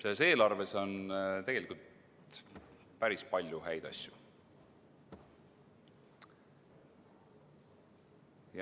Selles eelarves on tegelikult päris palju häid asju.